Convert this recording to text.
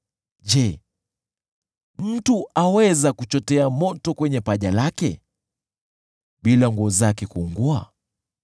Je, mtu aweza kuchotea moto kwenye paja lake bila nguo zake kuungua?